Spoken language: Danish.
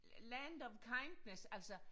Land of kindness altså